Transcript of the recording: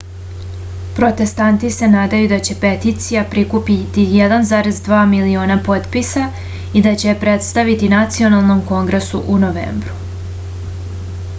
protestanti se nadaju da će peticija prikupiti 1,2 miliona potpisa i da će je predstaviti nacionalnom kongresu u novembru